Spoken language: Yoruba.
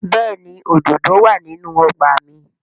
Bẹ́ẹ̀ni òdòdó wà nínú ọgbà mi